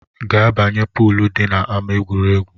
Ga banye na poolu dị n’ama egwuregwu!